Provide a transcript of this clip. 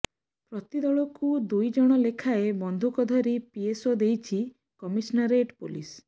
ପ୍ରତି ଦଳକୁ ଦୁଇ ଜଣ ଲେଖାଏଁ ବନ୍ଧୁକଧାରୀ ପିଏସ୍ଓ ଦେଇଛି କମିଶନରେଟ ପୋଲିସ